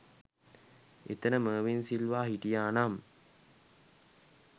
එතන මර්වින් සිල්වා හිටියා නම්